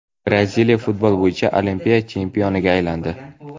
Braziliya futbol bo‘yicha Olimpiya chempioniga aylandi.